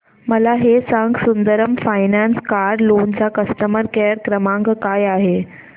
मला हे सांग सुंदरम फायनान्स कार लोन चा कस्टमर केअर क्रमांक काय आहे